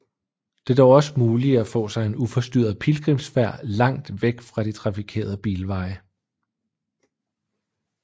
Det er dog også muligt at få sig en uforstyrret pilgrimsfærd langt væk fra de trafikerede bilveje